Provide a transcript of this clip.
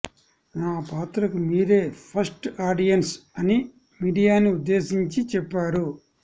నా పాత్రకు మీరే ఫస్ట్ ఆడియన్స్ అని మీడియాని ఉద్దేశించి చెప్పారు